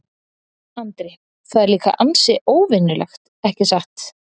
Andri: Það er líka ansi óvenjulegt, ekki satt?